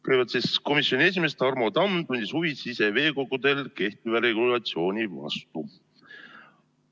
Kõigepealt tundis komisjoni esimees Tarmo Tamm huvi siseveekogudel kehtiva regulatsiooni vastu.